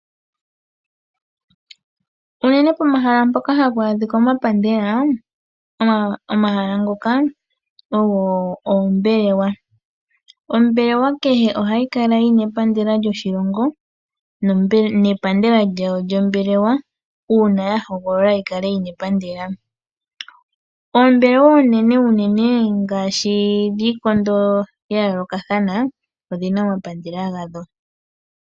Unene pomahala mpoka hapu adhika omapandela omahala ngoka ogo oombelewa. Ombelewa kehe ohayi kala yina epandela lyoshilongo nepandela lyawo lyombelewa uuna yahogolola yikale yina epandela. Oombelewa oonene unene ngaashi dhiikondo yayoolokathana odhina omapandela gadho.